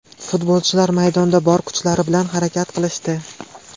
Futbolchilar maydonda bor kuchlari bilan harakat qilishdi.